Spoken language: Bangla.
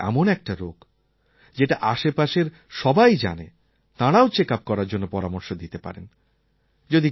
যক্ষ্মা তো এমন একটা রোগ যেটা আশেপাশের সবাই জানে তাঁরাও চেকআপ করার জন্য পরামর্শ দিতে পারেন